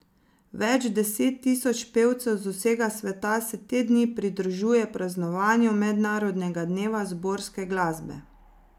Več deset tisoč pevcev z vsega sveta se te dni pridružuje praznovanju mednarodnega dneva zborovske glasbe.